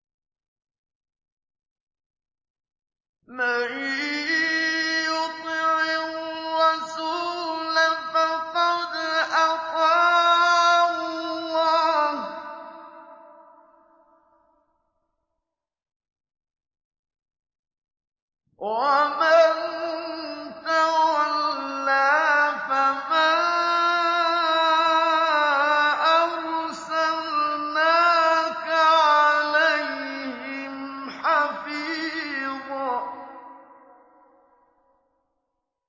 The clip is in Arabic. مَّن يُطِعِ الرَّسُولَ فَقَدْ أَطَاعَ اللَّهَ ۖ وَمَن تَوَلَّىٰ فَمَا أَرْسَلْنَاكَ عَلَيْهِمْ حَفِيظًا